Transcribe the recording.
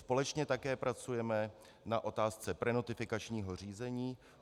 Společně také pracujeme na otázce prenotifikačního řízení.